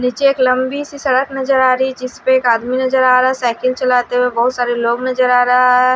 नीचे एक लंबी सी सड़क नजर आ रही है जिसपे एक आदमी नजर आ रहा है साइकिल चलाते हुए बोहोत सारे लोग नजर आ रहा हैं --